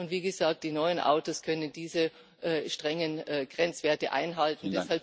Und, wie gesagt Die neuen Autos können diese strengen Grenzwerte einhalten.